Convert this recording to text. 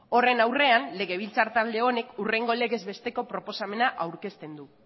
horren aurrean legabiltzar talde honek hurrengo legez besteko proposamena aurkezten du